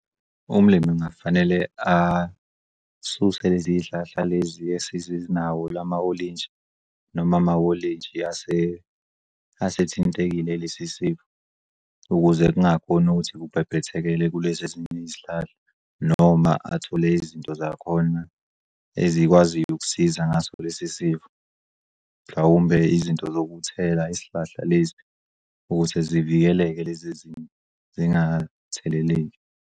Umlimi kungafanele asuse leziy'hlahla lezi esezi nawo lama olintshi noma amawolintshi asethintekile lesi sifo ukuze kungakhoni ukuthi kubhebhetheke kulezi ezinye izihlahla noma athole izinto zakhona ezikwaziyo ukusiza ngaso lesisifo. Mhlawumbe izinto zokuthela isihlahla lezi ukuthi zivikeleke lez'ezinye zingatheleleki.